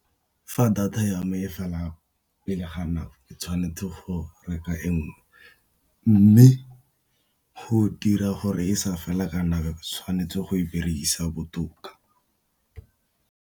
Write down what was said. Fa data ya me e fela pele ga nako ke tshwanetse go reka e nngwe, mme go dira gore e sa fela tshwanetse go e berekisa botoka.